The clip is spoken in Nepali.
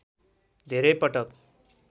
धेरै पटक